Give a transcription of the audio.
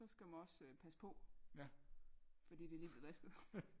Så skal man også passe på fordi det er lige blevet vasket